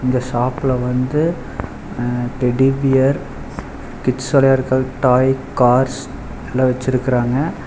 இந்த ஷாப்ல வந்து அ டெடி பியர் கிட்ஸ் விளையாடறக்காக டாய் கார்ஸ் எல்லா வெச்சிருக்குறாங்க.